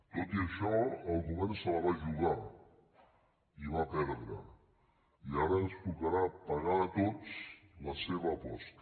tot i això el govern se la va jugar i va perdre i ara ens tocarà pagar a tots la seva aposta